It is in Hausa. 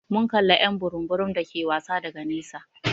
Mun kalla y'an burum burum dake wasa daga nesa.